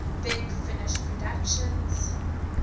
big finish productions